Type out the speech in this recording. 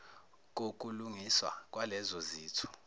kokulungiswa kwalezo zitho